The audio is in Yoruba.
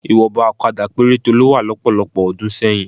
Ìwọ̀nba òkadà péréte ló wà lọ́pọ̀lọpọ̀ ọdún sẹ́yìn